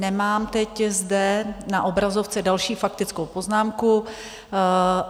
Nemám teď zde na obrazovce další faktickou poznámku.